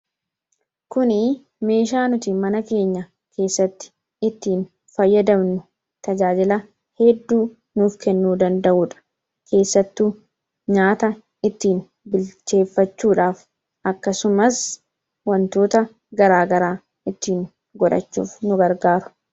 Kuni meeshaa nuti mana keenya keessatti ittiin fayyadamnu tajaajila hedduu nuuf kennuu danda'udha. Keessattuu nyaata ittiin bilcheeffachuudhaaf akkasumas wantoota garaa garaa ittiin godhachuuf nu gargaara.